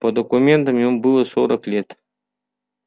по документам ему было сорок лет